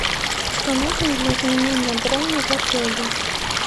что нужно для изменения брони в отеле